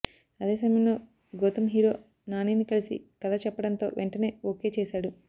అదే సమయంలో గౌతమ్ హీరో నానిని కలిసి కథ చెప్పడంతో వెంటనే ఒకే చేశాడు